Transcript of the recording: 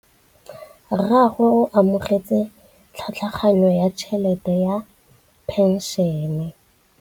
Rragwe o amogetse tlhatlhaganyô ya tšhelête ya phenšene.